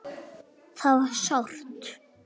Það var sárt.